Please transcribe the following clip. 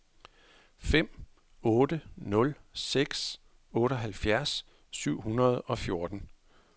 fem otte nul seks otteoghalvfjerds syv hundrede og fjorten